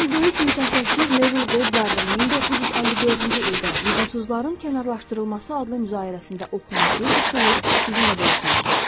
Mən böyük mütəfəkkir Nevil Goddard'ın 1954-cü ildə lüzumsuzların kənarlaşdırılması adlı müzaidəsində oxunan bir üsulu sizinlə bölüşmək istərdim.